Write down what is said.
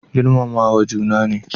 Girmamawa juna ne